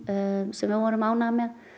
sem við vorum ánægðar með